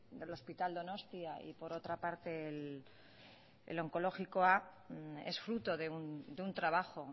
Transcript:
del hospital donostia y por otra parte el onkologikoa es fruto de un trabajo